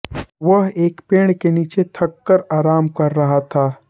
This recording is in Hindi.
वह एक पेड़ के नीचे थककर आराम कर रहा था